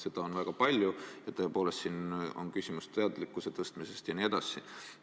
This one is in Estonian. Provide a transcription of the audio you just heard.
Seda on väga palju ja siin on tõepoolest küsimus teadlikkuse tõstmises jne.